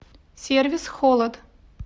сервис холод